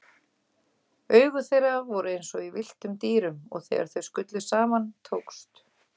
Augu þeirra voru einsog í villtum dýrum og þegar þau skullu saman tókst